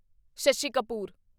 Shashi Kapoor